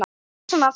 Pressan aftur.